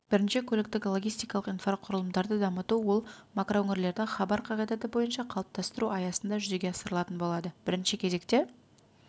бірінші көліктік-логистикалық инфрақұрылымдарды дамыту ол макроөңірлерді хабар қағидаты бойынша қалыптастыру аясында жүзеге асырылатын болады бірінші кезекте